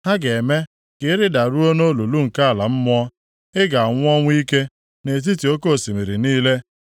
Ha ga-eme ka ị rịdaruo nʼolulu nke ala mmụọ. Ị ga-anwụ ọnwụ ike nʼetiti oke osimiri niile.